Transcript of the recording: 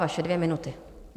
Vaše dvě minuty.